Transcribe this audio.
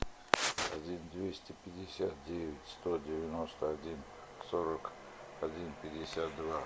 один двести пятьдесят девять сто девяносто один сорок один пятьдесят два